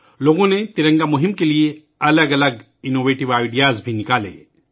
لوگ ترنگا مہم کے لئے مختلف اختراعی آئیڈیاز بھی لے کر آئے